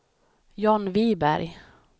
John Wiberg